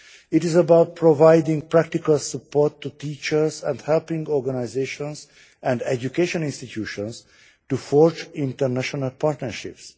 It is about providing practical support to teachers and helping organisations and educational institutions to forge international partnerships.